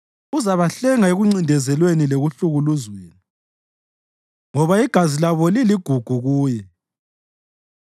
Uzabahlenga ekuncindezelweni lekuhlukuluzweni, ngoba igazi labo liligugu kuye.